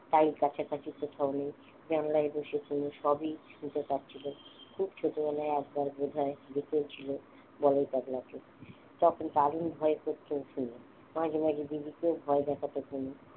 তাই কাছাকাছি কোথাও নেই সবই শুনতে পাচ্ছিলাম খুব ছোটবেলায় একবার বোধহয় দেখেছিল বলাই পাগলা কে তখন দারুন ভয় করত ওর মাঝে মাঝে দিদিকেও ভয় দেখাতো